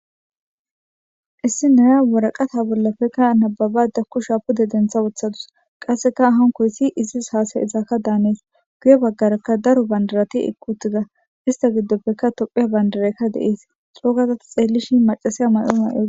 Issi naya waraqata bollappe nababda kusha pude dentha wothadus, qasseka hankoysi issi hasasizadan hanees guye baggaraka daro bandirati uttida istta giddoppeka tophphiya bandit aka de7ees coogada ta xeelishin maccassiya mayo may7adus.